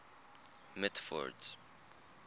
mitford's